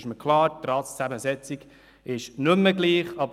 Mir ist klar, dass die Ratszusammensetzung nicht mehr gleich ist.